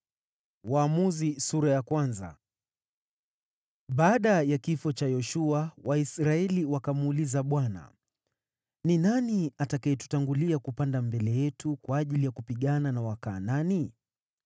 Baada ya kifo cha Yoshua, Waisraeli wakamuuliza Bwana , “Ni nani atakayetangulia kupanda mbele yetu kwa ajili ya kupigana na Wakanaani?”